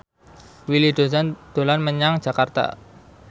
Willy Dozan dolan menyang Jakarta